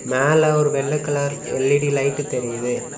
மேல ஒரு வெள்ளை கலர் எல்_இ_டி லைடு தெரியுது.